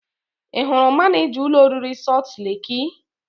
Ị hụrụ manịja ụlọ oriri Sọlt leki?